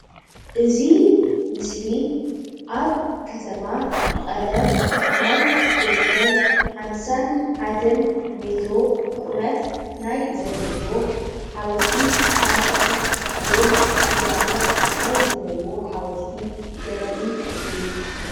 እዚ ምስሊ ኣብ ከተማ መቀለ 51 ሜትሮ ዝርከብ ማይ ዘለዎ ሓወልቲ ሰማእታት ዘርኢ ምስሊ እዩ፡፡